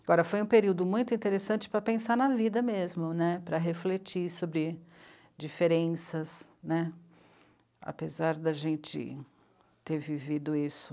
Agora, foi um período muito interessante para pensar na vida mesmo né, para refletir sobre diferenças né, apesar de a gente ter vivido isso.